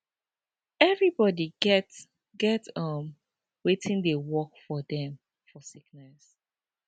everybody get get um wetin dey work for dem for sickness